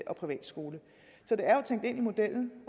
og privatskole så det er jo tænkt ind i modellen